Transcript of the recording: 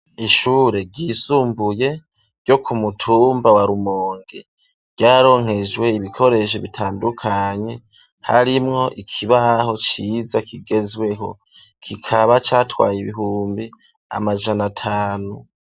Ishure ryisumbuye ,ryo ku mutumba wa rumonge, ryaronkejwe ibikoresho bitandukanye, harimwo ikibaho ciza kigezweho, kikaba catwaye ibihumbi amajana atanu.